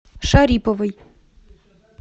шариповой